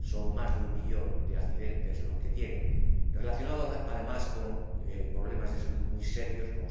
Son más de un millón de accidentes los que tienen, relacionados, además, con problemas de salud muy serios, como